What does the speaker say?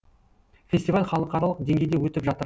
фестиваль халықаралық деңгейде өтіп жатыр